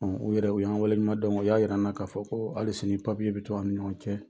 U yɛrɛw, u y'an waleɲuman don o y'a yira an na k'a fɔ ko hali sini bɛ to an ɲɔgɔn cɛ